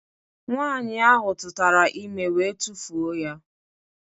Nwaanyị ahụ tụtara ime wee tufuo ya